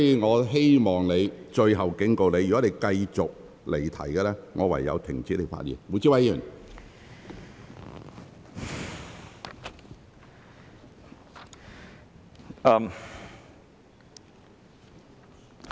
我最後警告你，如果你繼續離題，我會停止你的發言。